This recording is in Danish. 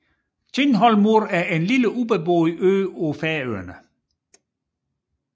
Tindhólmur er en lille ubeboet ø på Færøerne